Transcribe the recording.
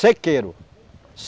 Sequeiro.